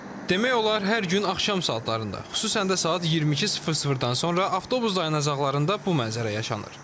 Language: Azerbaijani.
Demək olar hər gün axşam saatlarında, xüsusəndə saat 22:00-dan sonra avtobus dayanacaqlarında bu mənzərə yaşanır.